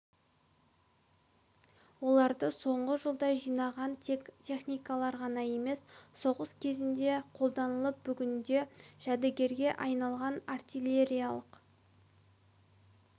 оларды соңғы жылда жинаған тек техникалар ғана емес соғыс кезінде қолданылып бүгінде жәдігерге айналған артиллериялық